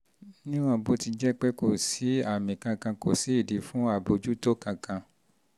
níwọ̀n bó ti jẹ́ pé kò pé kò sí àmì kankan kò sí ìdí fún àbójútó kankan